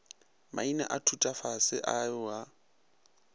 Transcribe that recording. maina a thutafase ao a